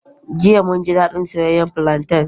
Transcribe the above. Jiya, mun ji daɗin soyayyen plantain.